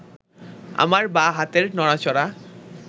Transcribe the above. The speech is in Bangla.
আমার বাঁ হাতের নড়াচড়া